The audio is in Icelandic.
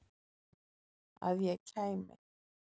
Að ég kæmi?